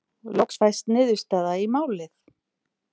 Loks fæst niðurstaða í málið.